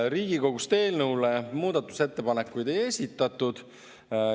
Riigikogust eelnõu kohta muudatusettepanekuid ei esitatud.